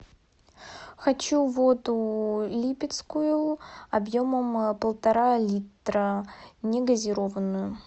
хочу воду липецкую объемом полтора литра негазированную